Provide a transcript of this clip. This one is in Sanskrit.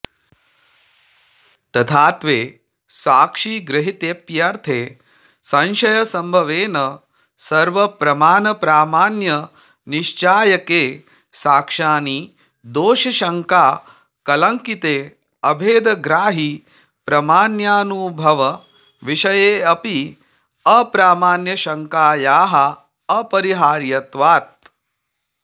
तथात्वे साक्षिगृहीतेऽप्यर्थे संशयसम्भवेन सर्वप्रमाणप्रामाण्यनिश्चायके साक्षाणि दोषशङ्काकलङ्किते अभेदग्राहिप्रमाण्यानुभवविषयेऽपि अप्रामाण्यशङ्कायाः अपरिहार्यत्वात्